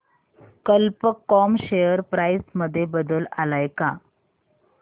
कल्प com share price मध्ये बदल आलाय का